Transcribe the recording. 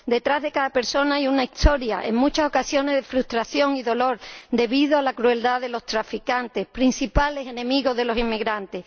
Detrás de cada persona hay una historia, en muchas ocasiones de frustración y dolor, debido a la crueldad de los traficantes, principales enemigos de los inmigrantes.